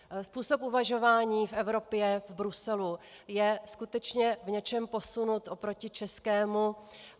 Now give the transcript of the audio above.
Způsob uvažování v Evropě, v Bruselu je skutečně v něčem posunut oproti českému.